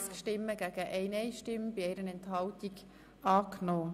Sie haben Ziffer 1 angenommen